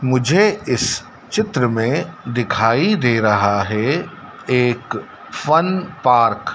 मुझे इस चित्र में दिखाई दे रहा है एक फन पार्क --